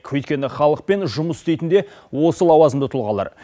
өйткені халықпен жұмыс істейтін де осы лауазымды тұлғалар